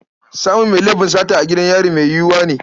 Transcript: Samun mai laifin sata a gidan yari mai yiwuwa ne.